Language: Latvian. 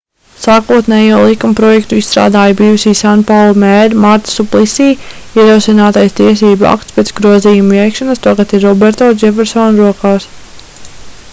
sākotnējo likumprojektu izstrādāja bijusī sanpaulu mēre marta suplisī ierosinātais tiesību akts pēc grozījumu veikšanas tagad ir roberto džefersona rokās